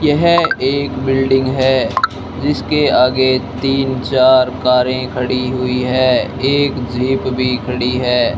यह एक बिल्डिंग है जिसके आगे तीन चार कारें खड़ी हुई हैं एक जीप भी खड़ी है।